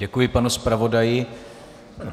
Děkuji panu zpravodaji.